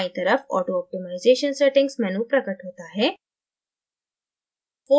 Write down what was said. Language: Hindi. बायीं तरफ auto optimization settingsमेनू प्रकट होता है